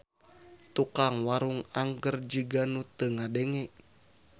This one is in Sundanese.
Tukang warung angger jiga nu teu ngadenge.